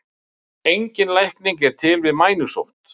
Engin lækning er til við mænusótt.